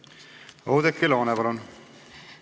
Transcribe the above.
Oudekki Loone, palun!